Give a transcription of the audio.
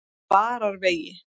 Vararvegi